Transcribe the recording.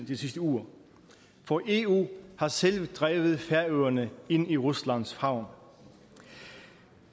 de sidste uger for eu har selv drevet færøerne ind i ruslands favn